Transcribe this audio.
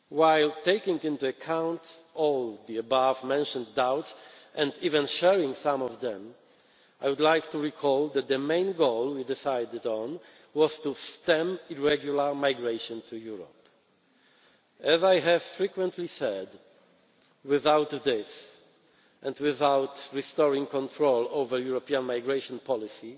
While taking into account all the above mentioned doubts and even sharing some of them, I would like to recall that the main goal we decided on was to stem irregular migration to Europe. As I have frequently said, without this, and without restoring control over European migration